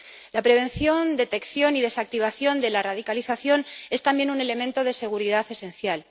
La prevención, detección y desactivación de la radicalización es también un elemento de seguridad esencial.